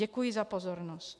Děkuji za pozornost.